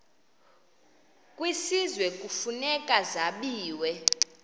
kwisizwe kufuneka zabiwe